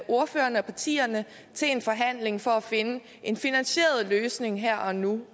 ordførerne og partierne til en forhandling for at finde en finansieret løsning her og nu